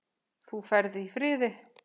Þú ferð í friði.